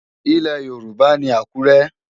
Ilẹ̀ Yorùbá ni Àkúrẹ́.